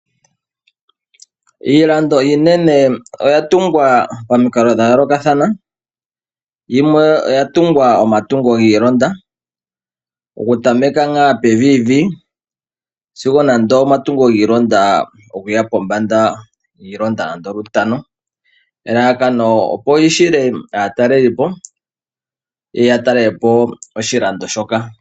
Iilando iinene oya tungwa pamikalo dha yolokathana. Yimwe oya tungwa omatungo gii ilonda oku tameka pevivi sigo nande omatungo gii ilonda nande lutano. Elalakano opo li hile aatalelipo yeye ya talelepo oshilando shoka.